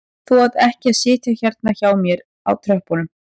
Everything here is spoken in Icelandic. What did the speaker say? Þú átt ekki að sitja hérna hjá mér á tröppunum